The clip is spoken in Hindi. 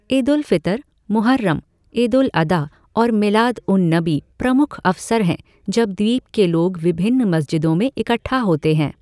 ईद उल फ़ितर, मुहर्रम, ईद उल अदा और मिलाद उन नबी प्रमुख अवसर हैं जब द्वीप के लोग विभिन्न मस्जिदों में इकट्ठा होते हैं।